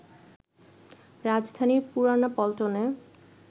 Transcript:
রাজধানীর পুরানা পল্টনে